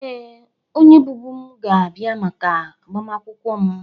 Ee, onye bụbu m ga-abịa maka agbamakwụkwọ m